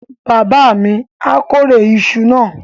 Bàbá mi á kórè iṣu náà.